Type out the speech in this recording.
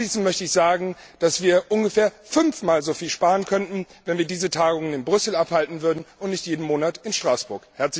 Abschließend möchte ich sagen, dass wir ungefähr fünf Mal so viel sparen könnten, wenn wir diese Tagungen in Brüssel abhalten würden und nicht jeden Monat in Straßburg.